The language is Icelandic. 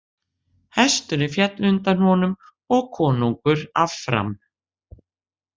Hesturinn féll undir honum og konungur af fram.